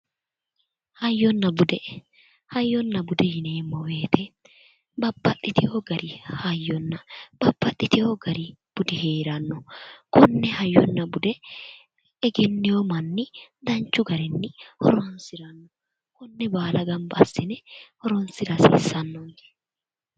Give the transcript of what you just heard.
Hayyonna bude hayyonna bude yineemmo woyiiye babbaxxitino gari hayyonna bbabbaxxiteyo gari budi heeranno konne hayyonna bude egenneyo manni danchu garinni horonsira hasiissanno konne baala gamba assine hironsira hasiissanno